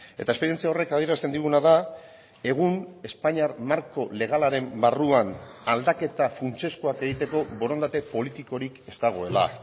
eta esperientzia horrek adierazten diguna da egun espainiar marko legalaren barruan aldaketa funtsezkoak egiteko borondate politikorik ez dagoela